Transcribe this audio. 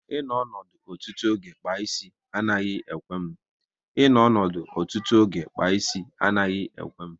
I nọdụ ọdụ ọtụtụ oge kpaa ịsị anaghị ekwe m